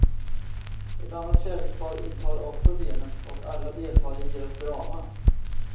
Ett annat kärlekspar intar också scenen och alla deltar i deras drama.